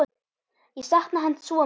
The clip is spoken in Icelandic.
Ég sakna hans svo mikið.